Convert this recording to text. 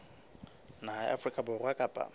naha ya afrika borwa kapa